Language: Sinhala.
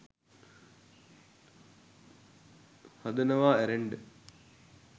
හදනවා ඇරෙන්ඩ